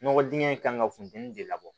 Nɔgɔ dingɛ in kan ka funteni de labɔ